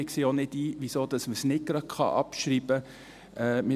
Wir sehen nicht ein, weshalb man nicht gleich abschreiben kann.